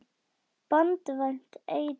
Banvænt eitur.